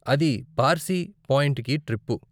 అది పార్శి పాయింట్కి ట్రిప్పు.